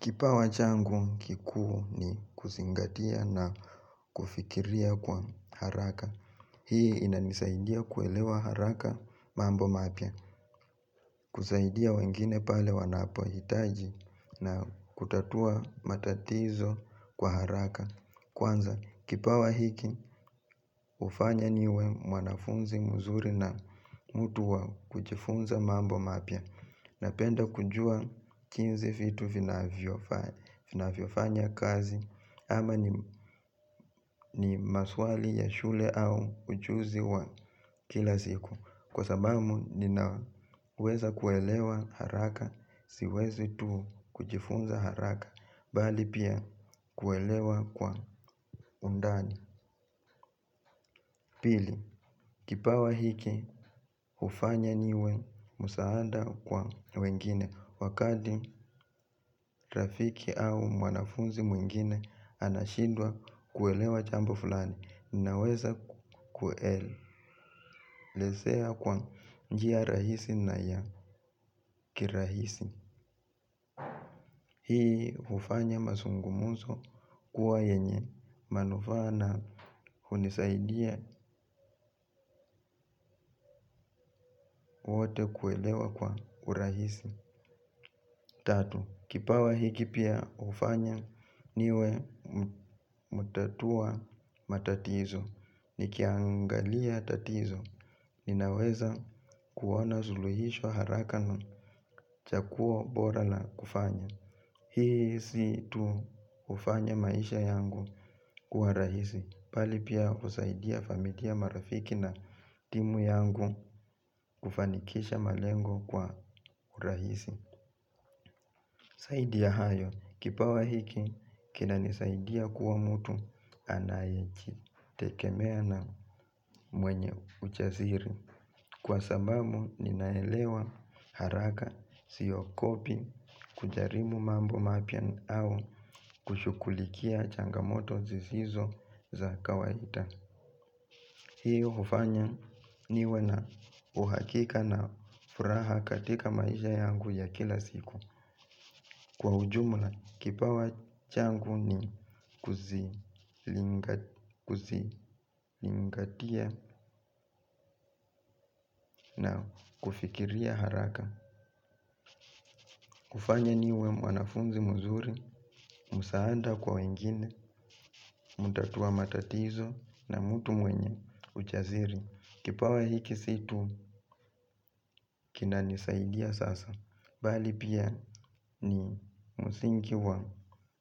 Kipawa changu kikuu ni kuzingatia na kufikiria kwa haraka. Hii inanisaidia kuelewa haraka mambo mapya. Kusaidia wengine pale wanapo hitaji na kutatua matatizo kwa haraka. Kwanza kipawa hiki hufanya niwe mwanafunzi mzuri na mtu wa kujifunza mambo mapya. Napenda kujua jinsi vitu vina vyofanya kazi ama ni maswali ya shule au ujuzi wa kila siku kwa sababu ninaweza kuelewa haraka siwezi tu kujifunza haraka bali pia kuelewa kwa undani pili, kipawa hiki hufanya niwe msaada kwa wengine wakati rafiki au mwanafunzi mwingine anashindwa kuelewa jambo fulani ninaweza kuelezea kwa njia rahisi na ya kirahisi hii hufanya mazungumzo kuwa yenye manufaa na hunisaidia wote kuelewa kwa urahisi tatu, kipawa hiki pia hufanya niwe mutatua matatizo nikiangalia tatizo, ninaweza kuona suluhisho haraka na chaguo bora la kufanya hii si tu hufanya maisha yangu kuwa rahisi bali pia husaidia familia marafiki na timu yangu kufanikisha malengo kwa rahisi zaidi ya hayo, kipawa hiki, kina nisaidia kuwa mtu anayeji tegemea na mwenye ujaziri. Kwa sababu, ninaelewa haraka, siogopi, kujaribu mambo mapya au kushughulikia changamoto zizizo za kawaida. Hii hufanya niwe na uhakika na furaha katika maisha yangu ya kila siku. Kwa ujumla kipawa changu ni kuzilingatia na kufikiria haraka kufanya niwe wanafunzi mzuri, msaada kwa wengine, mutatua matatizo na mtu mwenye ujaziri kipawa hiki si tu kinanisaidia sasa bali pia ni msingi wa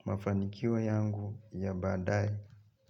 mafanikio yangu ya baadaye.